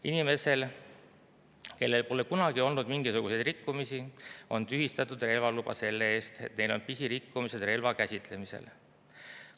Inimestel, kellel pole kunagi olnud mingisuguseid rikkumisi, on tühistatud relvaluba selle eest, et neil on pisirikkumised relva käsitlemisel.